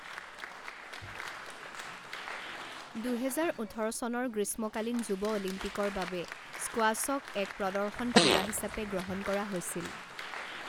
দুহেজাৰ ওঠৰ চনৰ গ্ৰীষ্মকালীন যুৱ অলিম্পিকৰ বাবে স্কোৱাশ্বক এক প্ৰদৰ্শন ক্ৰীড়া হিচাপে গ্ৰহণ কৰা হৈছিল।